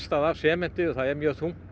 af sementi það er mjög þungt